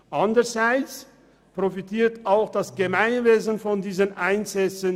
Anderseits profitiert auch das Gemeinwesen von diesen Einsätzen.